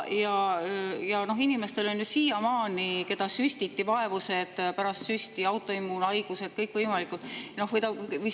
Ja inimestel, keda süstiti, on ju pärast süsti siiamaani vaevused, kõikvõimalikud autoimmuunhaigused.